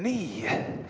Nii ...